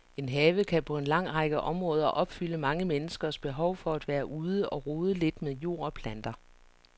En have kan på en lang række områder opfylde mange menneskers behov for at være ude og rode lidt med jord og planter.